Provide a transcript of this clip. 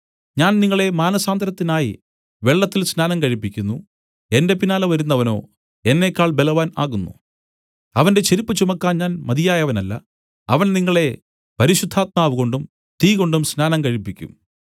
ഞാൻ നിങ്ങളെ മാനസാന്തരത്തിനായി വെള്ളത്തിൽ സ്നാനം കഴിപ്പിക്കുന്നു എന്റെ പിന്നാലെ വരുന്നവനോ എന്നേക്കാൾ ബലവാൻ ആകുന്നു അവന്റെ ചെരിപ്പു ചുമപ്പാൻ ഞാൻ മതിയായവനല്ല അവൻ നിങ്ങളെ പരിശുദ്ധാത്മാവ് കൊണ്ടും തീകൊണ്ടും സ്നാനം കഴിപ്പിക്കും